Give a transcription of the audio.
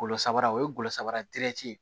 Golo samara o ye golo saba dirɛti ye